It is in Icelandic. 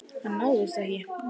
Hann náðist ekki.